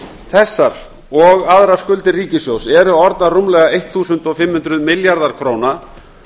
þessar og aðrar skuldir ríkissjóðs eru orðnar rúmlega fimmtán hundruð milljarðar króna